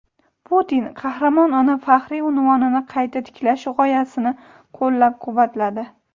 Putin "Qahramon ona" faxriy unvonini qayta tiklash g‘oyasini qo‘llab-quvvatladi.